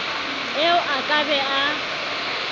eo a ka be a